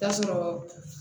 Taa sɔrɔ